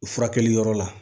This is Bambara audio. Furakɛli yɔrɔ la